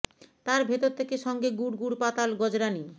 তার ভেতর থেকে সঙ্গে গুড় গুড় পাতাল গজরানি